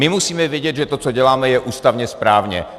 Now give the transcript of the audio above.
My musíme vědět, že to, co děláme, je ústavně správně.